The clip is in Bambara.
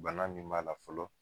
Bana min b'a la fɔlɔ